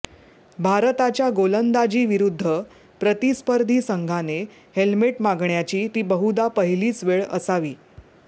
भारताच्या गोलंदाजीविरुद्ध प्रतिस्पर्धी संघाने हेल्मेट मागण्याची ती बहुधा पहिलीच वेळ असावी